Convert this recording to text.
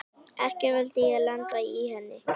Ekki vildi ég lenda í henni!